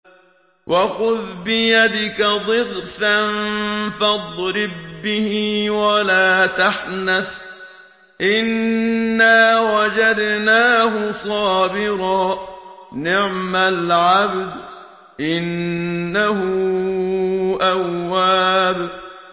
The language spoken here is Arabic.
وَخُذْ بِيَدِكَ ضِغْثًا فَاضْرِب بِّهِ وَلَا تَحْنَثْ ۗ إِنَّا وَجَدْنَاهُ صَابِرًا ۚ نِّعْمَ الْعَبْدُ ۖ إِنَّهُ أَوَّابٌ